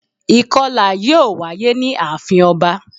Ìkọlà yíò wáyé ní àafin ọba